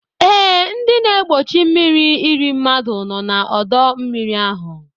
E, ndị na-egbochi mmírí irí mmadụ nọ na ọdọ mmiri ahu